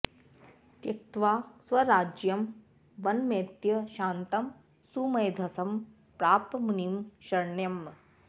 त्यक्त्वा स्वराज्यं वनमेत्य शान्तं सुमेधसं प्राप मुनिं शरण्यम्